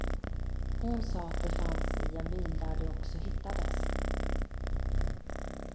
Hon sa att de fanns i en bil där de också hittades.